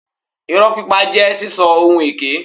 Ìrọ́ pípa jẹ́ sísọ ohun èké.